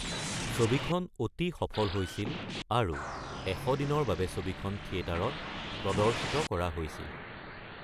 ছবিখন অতি সফল হৈছিল আৰু ১০০ দিনৰ বাবে ছবিখন থিয়েটাৰত প্ৰদৰ্শিত কৰা হৈছিল।